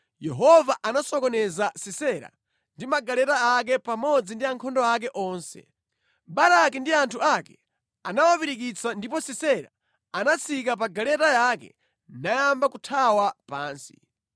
Yehova anasokoneza Sisera ndi magaleta ake pamodzi ndi ankhondo ake onse. Baraki ndi anthu ake anawapirikitsa ndipo Sisera anatsika pa galeta yake nayamba kuthawa pansi.